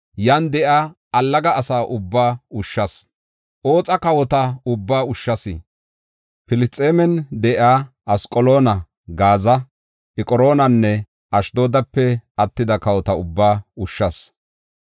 yan de7iya allaga asa ubbaa ushshas. Oxa kawota ubbaa ushshas. Filisxeemen de7iya Asqaloona, Gaaza, Eqroonanne Ashdoodape attida kawota ubbaa ushshas.